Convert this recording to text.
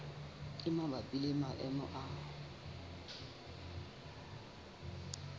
e mabapi le maemo a